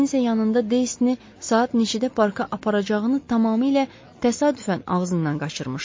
Kiminsə yanında Deyni saat neçədə parka aparacağını tamamilə təsadüfən ağzından qaçırmışdı.